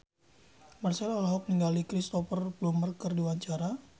Marchell olohok ningali Cristhoper Plumer keur diwawancara